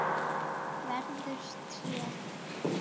Verður tré.